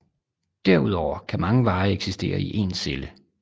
Derudover kan mange veje eksistere i én celle